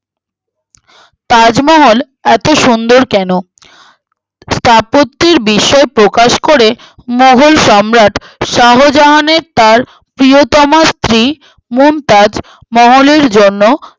তাজমহল এতো সুন্দর কেনো স্থাপত্যের বিস্ময়ে প্রকাশ করে মোঘল সম্রাট শাহজানের তার প্রিয়তমার স্ত্রী মমতাজ মহলের জন্য